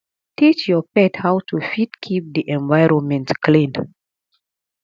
teach your pet how to fit keep di environment clean